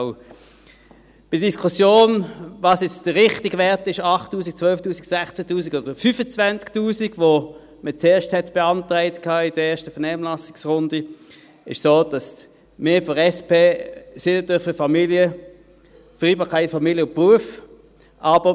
Bei der Diskussion, welches nun der richtige Wert sei, 8000 Franken, 12 000 Franken, 16 000 Franken oder 25 000 Franken, wie zuerst, in der ersten Vernehmlassungsrunde beantragt worden war, ist es so, dass wir von der SP natürlich für die Vereinbarkeit von Familie und Beruf sind.